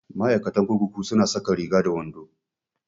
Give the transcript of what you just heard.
Ma'aikatan kurkuku su na saka Riga da wando